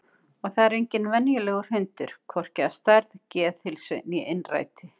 Og það er enginn venjulegur hundur, hvorki að stærð, geðheilsu né innræti.